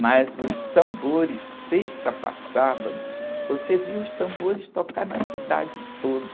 Mas os tambores, sexta para sábado, você via os tambores tocar na cidade toda.